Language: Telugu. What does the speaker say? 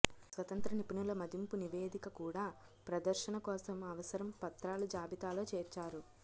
స్వతంత్ర నిపుణుల మదింపు నివేదిక కూడా ప్రదర్శన కోసం అవసరం పత్రాలు జాబితాలో చేర్చారు